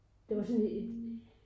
Det var sådan et